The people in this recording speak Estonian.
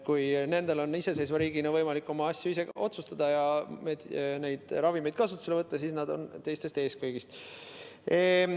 Kui nendel on iseseisva riigina võimalik oma asju ise otsustada ja neid ravimeid kasutusele võtta, siis nad on teistest kõigist ees.